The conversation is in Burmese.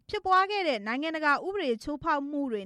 ဖြစ်ပွားခဲ့တဲ့ လူ့အခွင့်အရေးချိုးဖောက်မှုတွေ